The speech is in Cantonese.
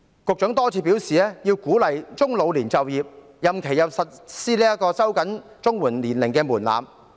局長多次表示要鼓勵中老年就業，並收緊了長者綜合社會保障援助的年齡門檻。